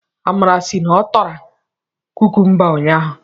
Amara sị na ọ tara kukumba ụnyaahụ.